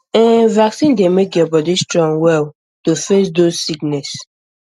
ehn vaccine dey make your body strong well to face those sickness